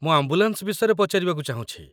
ମୁଁ ଆମ୍ବୁଲାନ୍ସ ବିଷୟରେ ପଚାରିବାକୁ ଚାହୁଁଛି।